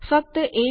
ફક્ત એજ મળ્યું છે